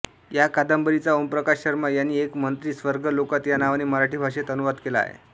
या कादंबरीचा ओमप्रकाश शर्मा यांनी एक मंत्री स्वर्गलोकात या नावाने मराठी भाषेत अनुवाद केला आहे